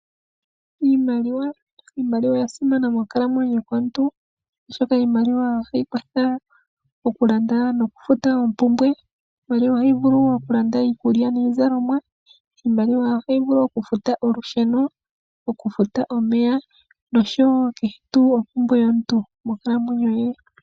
Iimaliwa oya simana monkalamweyo yomuntu oshoka iimaliwa ohayi kwathele okulanda nokufuta oompumbwe. Iimaliwa ohayi vulu wo okulanda niizalomwa. Iimaliwa ohayi vulu okufuta olusheno, okufuta omeya noshowo kehe ompumbwe yomuntu monkalamweyo ye.